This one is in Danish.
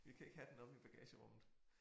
Vi kan ikke have den omme i bagagerummet